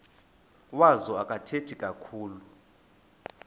wazo akathethi kakhulu